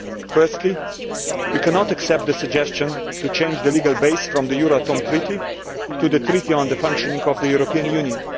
Firstly, we cannot accept the suggestion to change the legal basis from the Euratom Treaty to the Treaty on the Functioning of the European Union.